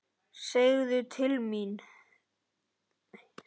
Segðu til þín!